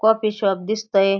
Coffee shop दिसतंय.